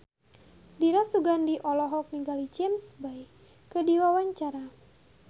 Dira Sugandi olohok ningali James Bay keur diwawancara